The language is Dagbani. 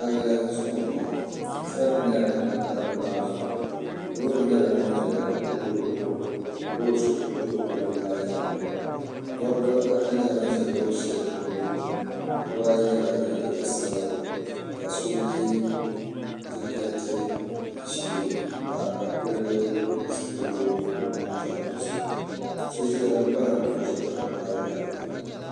palli zuɣu m-bɔŋɔ sarati nyɛla din niŋ palli maa zuɣu loori nyɛla ŋun ʒɛya ka o zuɣu wurim ka loori so do palli maa yaɣili dɔbba ata nyɛla ban ʒe loori shɛli tooni biba ayi nyɛla ban ye liiga sabila ka so ye jakɛti ʒee m-pa ka pili zipiligu ka di niŋ zaɣ' dozim so bala moto ʒe palli maa yaɣili